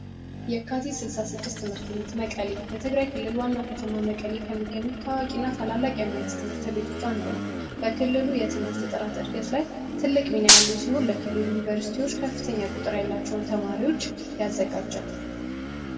የካቲት 66 ትምህርት ቤት መቀሌ በትግራይ ክልል ዋና ከተማ መቀሌ ከሚገኙ ታዋቂና ታላላቅ የመንግስት ትምህርት ቤቶች አንዱ ነው በክልሉ የትምህርት ጥራት ዕድገት ላይ ትልቅ ሚና ያለው ሲሆን ለክልሉ ከፍተኛ ቁጥር ያላቸውን ተማሪዎች ያዘጋጃል